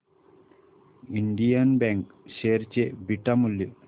Indian bank share चे beta मूल्य